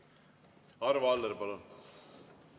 Arvo Aller, palun!